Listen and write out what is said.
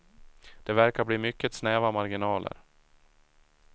Det verkar bli mycket snäva marginaler.